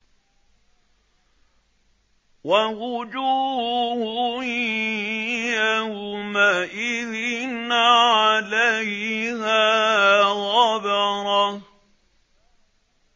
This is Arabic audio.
وَوُجُوهٌ يَوْمَئِذٍ عَلَيْهَا غَبَرَةٌ